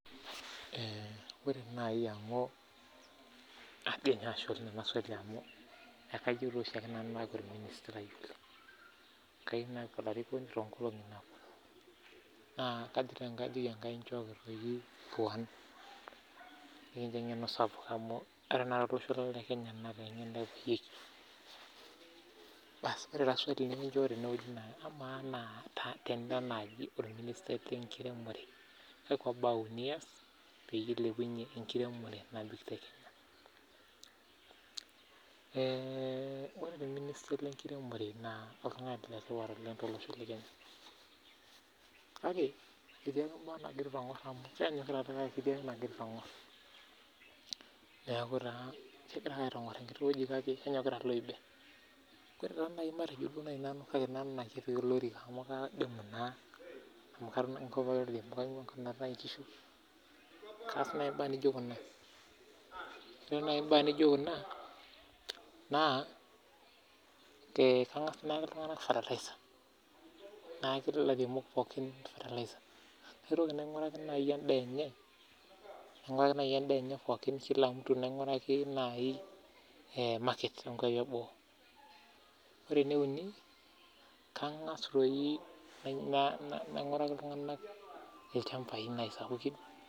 ore taa amu, ashe doi ninye amuu kayiou naaku olarikoni toonkolongi naaponu, kajoki ake Enkai njooki puan nikincho engeno sapuk amuu ore tenakata tolosho lang lekenya naa ore naa swali naa kamaa tenaa ira orministai lenkiremore naa kakua baa uni iyas piilepunye enkiremore, ore taa orministai lenkiremore naa oltungani letipat oleng tolosho lang lekenya kake etii entoki nagira aitongor hoo duo nenyokita iloibe kake ore naaji tenaya nanu olorika amuu ainguaa enkop naatae enkishu naa kaas naaji imbaa naijo kuna ayaki ferterlizer kila olairemoni ore enkae nainguraki sii enemirie ore enkae nainguraki ilchambai